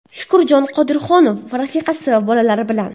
Shukurjon Qodirohunov rafiqasi va bolalari bilan.